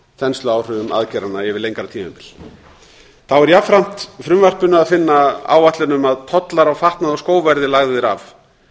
þensluáhrifum aðgerðanna yfir lengra tímabil þá er jafnframt í frumvarpinu að finna áætlun um að tollar á fatnað og skó verði lagðir af